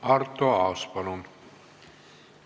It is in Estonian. Arto Aas, palun!